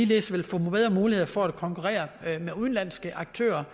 vil få bedre muligheder for at konkurrere med udenlandske aktører